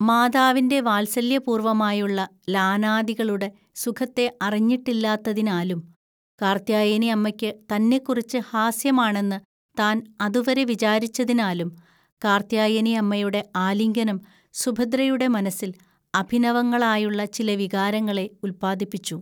മാതാവിൻ്റെ വാത്സല്യപൂർവ്വമായുള്ള ലാനാദികളുടെ സുഖത്തെ അറിഞ്ഞിട്ടില്ലാത്തതിനാലും, കാർത്യായനിഅമ്മയ്ക്ക് തന്നെക്കുറിച്ച് ഹാസ്യമാണെന്ന് താൻ അതുവരെ വിചാരിച്ചതിനാലും, കാർത്യായനിഅമ്മയുടെ ആലിംഗനം സുഭദ്രയുടെ മനസ്സിൽ അഭിനവങ്ങളായുള്ള ചില വികാരങ്ങളെ ഉല്പാദിപ്പിച്ചു.